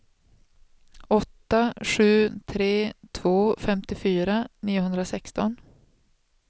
åtta sju tre två femtiofyra niohundrasexton